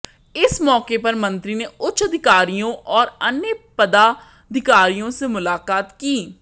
इस मौके पर मंत्री ने उच्च अधिकारियों और अन्य पदाधिकारियों से मुलाकात की